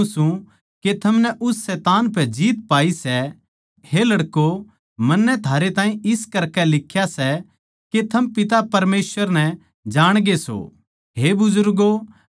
क्यूँके जो कीमे दुनिया म्ह सै यानी देह की अभिलाषा आँखां की अभिलाषा अर रोजी रोटी का घमण्ड वो पिता परमेसवर कि ओड़ तै कोनी पर दुनिया की ए ओड़ तै सै